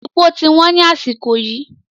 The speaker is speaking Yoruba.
Èpò ti wọ́n ni àsìkò yìí